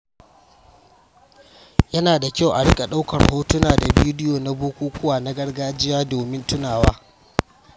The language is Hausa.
Yana da kyau a riƙa ɗaukar hotuna da bidiyo na bukukuwa na gargajiya domin tunawa.